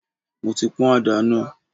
Mo ti pọn ada náà.